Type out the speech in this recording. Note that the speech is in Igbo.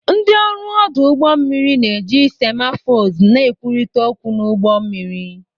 Ndị ọrụ ọdụ ụgbọ mmiri na-eji semaphores na-ekwurịta okwu n'ụgbọ mmiri.